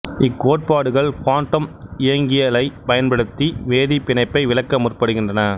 இக்கோட்பாடுகள் quantum இயங்கியலைப் பயன்படுத்தி வேதிப் பிணைப்பை விளக்க முற்படுகின்றன